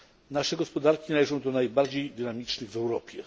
Nasze gospodarki należą do najbardziej dynamicznych w Europie.